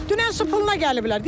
Dünən su puluna gəliblər.